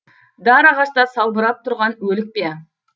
дар ағашта салбырап тұрған өлік пе